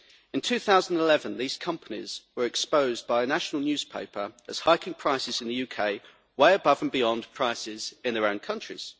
In 2011, these companies were exposed by a national newspaper as hiking prices in the UK way above and beyond prices in their own countries.